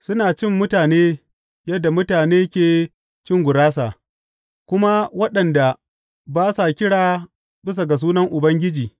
Suna cin mutane yadda mutane ke cin gurasa kuma waɗanda ba sa kira bisa Ubangiji?